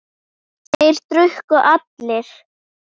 Þeir drukku allir.